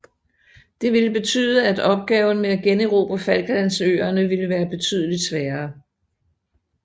Det ville betyde at opgaven med at generobre Falklandsøerne ville være betydeligt sværere